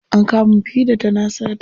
An kama mufida tana sata.